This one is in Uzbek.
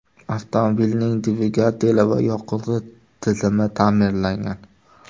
Avtomobilning dvigateli va yoqilg‘i tizimi ta’mirlangan.